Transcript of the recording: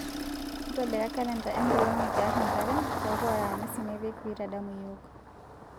ntobira kalenda enkolong nikiar enkare peeku aramisi nipik peitadamu yiok